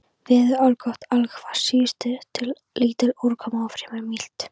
Veður allgott allhvass suðaustan lítil úrkoma og fremur milt.